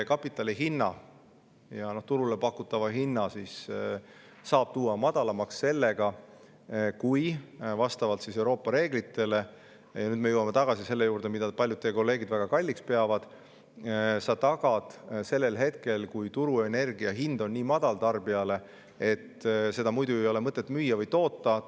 Kapitali hinna ja turule pakutava hinna saab tuua madalamaks sellega, kui sa vastavalt Euroopa reeglitele – nüüd me jõuame tagasi selle juurde, mida paljud teie kolleegid väga kalliks peavad – tagad minimaalse põranda sellel hetkel, kui turul on energia hind tarbijale nii madal, et seda ei ole mõtet muidu müüa või toota.